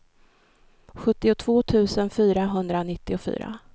sjuttiotvå tusen fyrahundranittiofyra